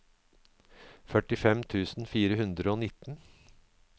førtifem tusen fire hundre og nitten